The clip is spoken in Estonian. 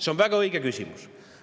See on väga õige küsimus.